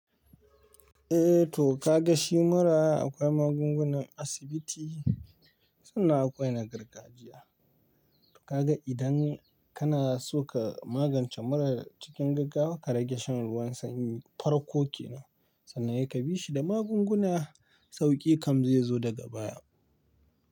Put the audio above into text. Eh to ka ga shi mura akwai magungunan asibiti, sannan akwai na gargajiya. Ka ga idan kana so ka magance mura cikin gaggawa, ka rage shan ruwan sanyi. Farko ke nan sannan se ka bi shi da magunguna sauki kam zai zo daga baya.